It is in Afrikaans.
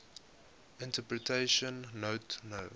interpretation note no